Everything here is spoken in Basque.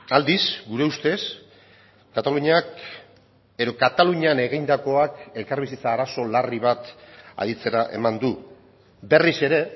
aldiz gure ustez kataluniak edo katalunian egindakoak elkarbizitza arazo larri bat aditzera eman du berriz ere